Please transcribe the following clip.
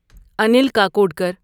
Anil Kakodkar